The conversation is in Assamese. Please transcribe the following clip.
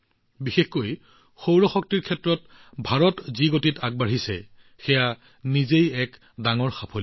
বিশেষকৈ সৌৰ শক্তিৰ ক্ষেত্ৰত ভাৰতে যি গতিত আগবাঢ়িছে সেয়া নিজেই এক ডাঙৰ সাফল্য